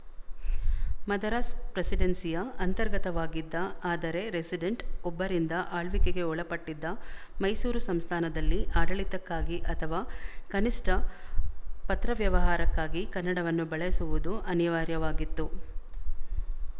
ಮದರಾಸ್ ಪ್ರೆಸಿಡೆನ್ಸಿಯ ಅಂತರ್ಗತವಾಗಿದ್ದ ಆದರೆ ರೆಸಿಡೆಂಟ್ ಒಬ್ಬರಿಂದ ಆಳ್ವಿಕೆಗೆ ಒಳಪಟ್ಟಿದ್ದ ಮೈಸೂರು ಸಂಸ್ಥಾನದಲ್ಲಿ ಆಡಳಿತಕ್ಕಾಗಿ ಅಥವಾ ಕನಿಶ್ಠ ಪತ್ರವ್ಯವಹಾರಕ್ಕಾಗಿ ಕನ್ನಡವನ್ನು ಬಳಸುವುದು ಅನಿವಾರ್ಯವಾಗಿತ್ತು